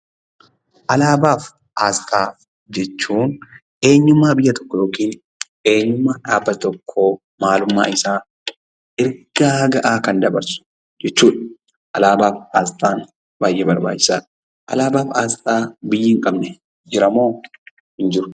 Alaabaafi asxaa jechuun; eenyumma biyya tokko yookin eenyummaa dhaabbata tokkoo maalummaa isaa ergaa ga'a Kan dabarsuu jechuudha. Alaabaaf asxaan baay'ee barbaachisaadha. Alaabaaf asxaa biyyi hin qabne jiramoo hin jiru?